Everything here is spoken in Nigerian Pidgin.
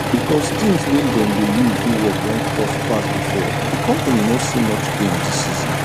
because things wey dem dey use do work don cost pass before di company no see much gain dis season